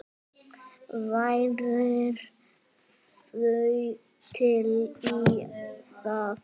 Værirðu til í það?